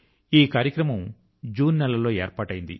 ఈ కార్యక్రమం జూన్ నెల లో ఏర్పాటయింది